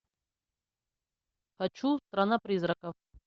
хочу страна призраков